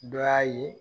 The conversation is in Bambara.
Dɔ y'a ye